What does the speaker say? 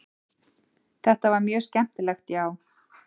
Þetta var mjög skemmtilegt já.